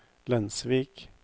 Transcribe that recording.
Lensvik